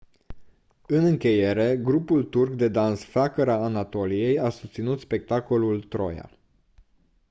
în încheiere grupul turc de dans flacăra anatoliei a susținut spectacolul «troia».